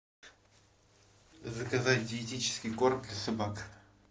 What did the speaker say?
заказать диетический корм для собак